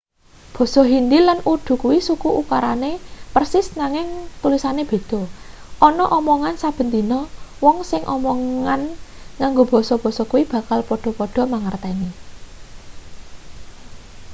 basa hindi lan urdu kuwi suku ukarane persis nanging tulisane beda ana omongan saben dina wong sing omongan nganggo basa-basa kuwi bakal padha-padha mangerteni